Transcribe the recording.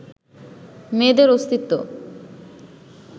মেয়েদের অস্তিত্ব